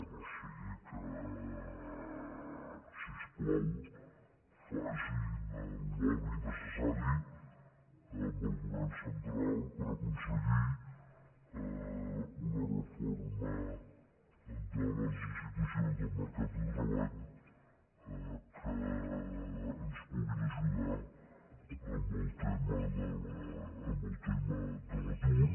o sigui que si us plau facin el lobby necessari amb el govern central per aconseguir una reforma de les institucions del mercat de treball que ens puguin ajudar en el tema de l’atur